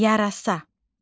Yarasa.